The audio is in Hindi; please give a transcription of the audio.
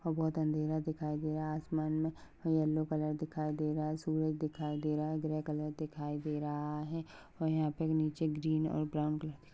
वहा बहुत अंधेरा दिखाई दे रहा है आसमान मे येल्लो कलर दिखाई दे रहा है सुरज दिखाई दे रहा है ग्रे कलर दिखाई दे रहा है और यहाँ पे नीचे ग्रीन कलर और ब्राउन कलर --